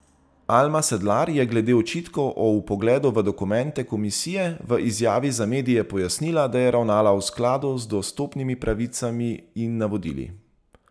Alma Sedlar je glede očitkov o vpogledu v dokumente komisije v izjavi za medije pojasnila, da je ravnala v skladu z dostopnimi pravicami in navodili.